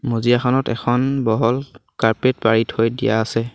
মজিয়াখনত এখন বহল কাৰ্পেট পাৰি থৈ দিয়া আছে।